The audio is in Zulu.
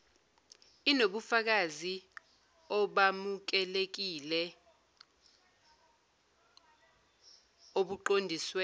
inobufakazi obamukelekile obuqondiswe